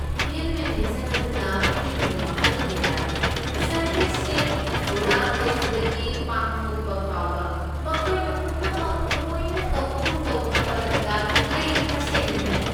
Event manager ꯑꯗꯨꯅ ꯄꯤꯔꯤꯕ ꯃꯈꯜ ꯀꯌꯥꯒꯤ ꯁꯔꯚꯤꯁꯁꯤꯡ, ꯊꯧꯔꯥꯡ ꯇꯧꯕꯗꯒꯤ ꯄꯥꯡꯊꯣꯛꯄ ꯐꯥꯎꯕ, ꯃꯈꯣꯏꯅ ꯄꯨꯝꯅꯃꯛ ꯂꯣꯏꯅ ꯇꯧꯕꯒꯨꯝ ꯇꯧꯈꯤꯕ ꯑꯗꯨꯗ ꯑꯩ ꯇꯁꯦꯡꯅ ꯉꯛꯏ꯫